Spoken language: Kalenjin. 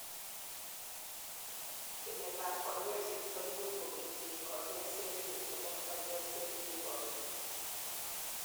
tyemet ab kanyoiset koimuch kokerchin kanyoiset nelel nebo kanyoiset ne kikobit